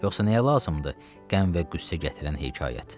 Yoxsa nəyə lazımdır qəm və qüssə gətirən hekayət?